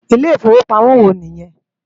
Ilé Ifówópámò wò ni yèn?